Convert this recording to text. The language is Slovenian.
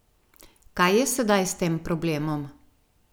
Kaj je sedaj s tem problemom?